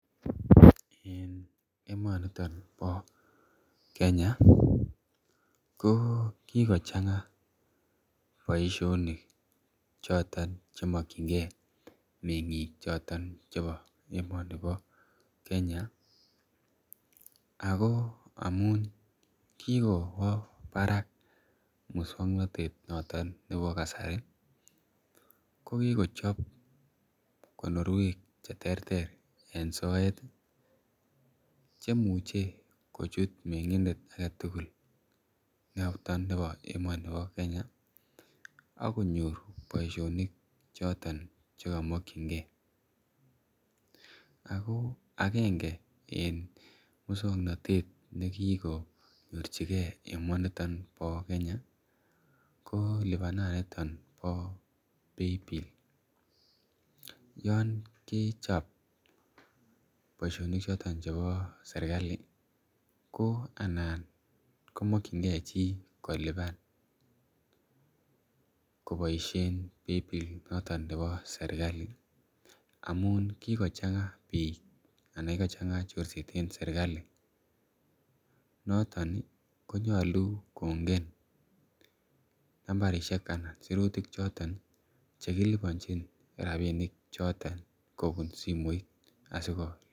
En kasari ko kokikowalak kot missing oliemuche chi , kolibanda pilisiek, choton Chechik ih, anan ko chebkondok choton chekiache, ago amuun kikwa barak musuaknotet noton nebo kasari ih, kokikobwa tuguk cheterter anan kabilosiek cheterter, cheuu olekilubanto, rabisiek en Kenya ih, anan emet niton, mayani anei kelibanen serkalit credit ih , anan ko debit amuun kokochang'a chorset nebo sirutik, choton cheguget ih en en niton amuun imuche keibenin chebkondok kug komenai at Kai tugul amuche ale kaikai libanetab mpesa kosir nebo debit ih amun mpesa komamuche konam chi sirutik kuk ih ak olelobantaoi.